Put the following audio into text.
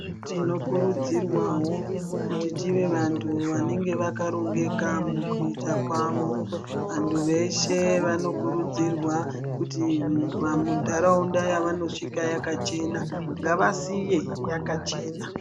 Tinokurudzirwawo kuti tive vanthu vanenge vakarongeka mukuita kwavo vantu veshe vanokuridzirwa kuti mundaraunda yavanosvika yakachena ngavasiye yakachena.